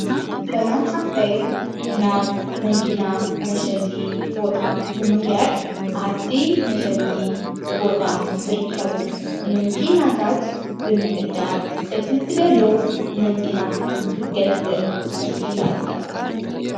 ሰላም ሓፍታይ ናብ መንኪና መሸጢ ቦታ ብምኽያድ ዓቲ መሸጢ ቦታ ዝርከቡ መንኪናታት ብምዕዳግ እቲ ትደልዮ መንኪና ክትገዝብ ኪኢለ እያ።